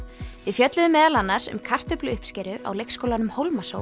við fjölluðum meðal annars um kartöfluuppskeru á leikskólanum